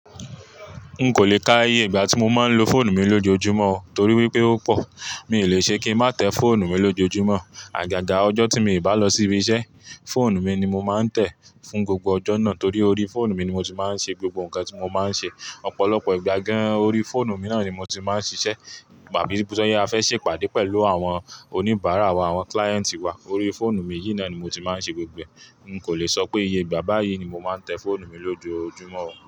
N'kò le kà iye ìgbà tí mo máa ń lo fóònù mi lójoojúmọ́ o torí wípé ó pò, mi ò lè ṣe kí n má tẹ fóònù mi lójoojúmọ́. Àgàgà ọjọ́ tí mii bá lọ sí ibi iṣẹ́, fóònù mi ni mo máa ń tẹ fún gbogbo ọjọ́ náà torí orí fóònù mi ni mo ti máa ń ṣe gbogbo nǹkan tí mo máa ń ṣe. Ọ̀pọ̀lọpọ̀ ìgbà gan-an orí fóònù mi náà ni mo ti máa ń ṣiṣẹ́, pàbí bóya á fẹ́ ṣe pàdé pẹ̀lú àwọn oníbàárà wa, àwọn kilayenti wa, orí fóònù mi yìí náà ni mo ti máa ń ṣe gbogbo ẹ̀. N'kò lè sọ pé iye ìgbà báyìí ni mo máa ń tẹ fóònù mi lójoojúmọ́ o.